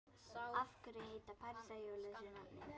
Af hverju heita parísarhjól þessu nafni?